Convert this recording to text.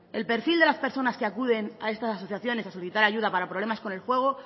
el perfil de las personas que acuden a estas asociaciones a solicitar ayuda para problemas con el juego